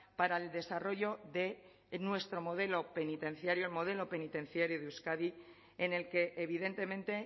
para el desarrollo de nuestro modelo penitenciario el modelo penitenciario de euskadi en el que evidentemente